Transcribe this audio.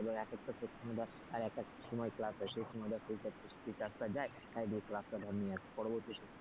এক একটা section ধর আর এক একটা সময় class হয় সেই সময় ধর teachers টা যায় তাই গিয়ে ধর class টা ধর নিয়ে আয়,